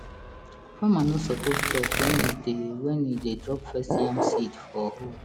farmer no suppose talk when e dey when e dey drop first yam seed for hole